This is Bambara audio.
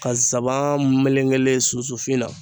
Ka nsaban melekelen sunsunfin na